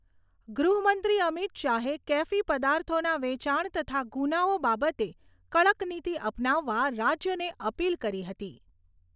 ગૃહમંત્રી અમિત શાહે કેફી પદાર્થોના વેચાણ તથા ગૂનાઓ બાબતે કડક નીતિ અપનાવવા રાજ્યોને અપીલ કરી હતી.